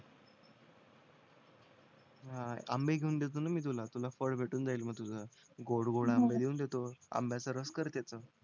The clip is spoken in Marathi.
हाणा आंबे घेऊन देतो ना मी तुला तुला फळ भेटून जाईल मग तुज गोड गोड आंबे घेऊन देतो आंब्याचा रस कर तिथे